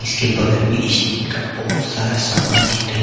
इसके बगल में स्टील का बहुत सारा समान दिख रही है।